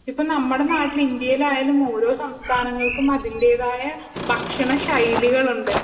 ഇപ്പം നമ്മളെ നാട്ടിൽ ഇന്ത്യയിൽ ആയാലും ഓരോ സംസ്ഥാനങ്ങൾക്കും അതിന്റെതായ ഭക്ഷണ ശൈലികളുണ്ട്